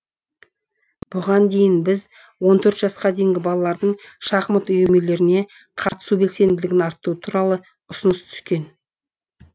бұған дейін біз он төрт жасқа дейінгі балалардың шахмат үйірмелеріне қатысу белсенділігін арттыру туралы ұсыныс түскен